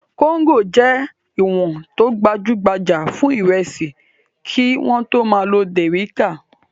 Kóńgò jẹ́ ìwọ̀n tó gbajú-gbajà fún ìrẹsì kí wọ́n tó máa lo dẹ̀ríká.